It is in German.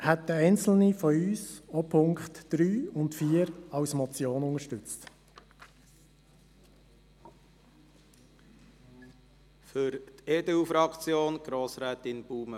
Deshalb werden einzelne von uns auch die Ziffern 3 und 4 als Motion unterstützen.